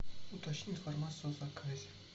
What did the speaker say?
уточни информацию о заказе